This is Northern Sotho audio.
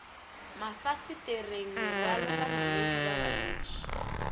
mafasetereng merwalo banamedi ba bantši